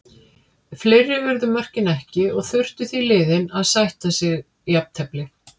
Fleiri urðu mörkin ekki og þurftu því liðin að sætta sig jafntefli.